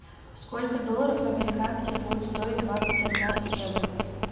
сколько долларов американских будет стоить двадцать одна евро